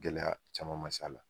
Gɛlɛya caman ma s'a la